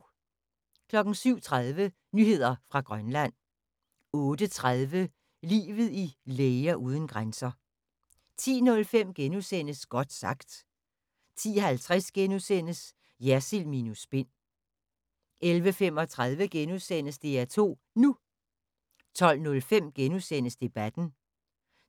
07:30: Nyheder fra Grønland 08:30: Livet i Læger uden grænser 10:05: Godt sagt * 10:50: Jersild minus spin * 11:35: DR2 NU * 12:05: Debatten